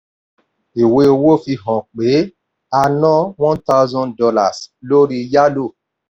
ìwé owó fi hàn pé a ná one thousand dollars lórí yálò.